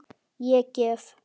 Ég gef.